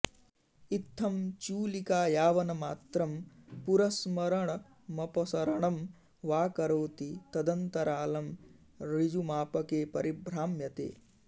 इत्थं चूलिका यावन्मात्रं पुरस्मरणमपसरणं वा करोति तदन्तरालं ऋजुमापके परिभ्राम्यते